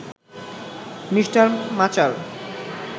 Mr মাচার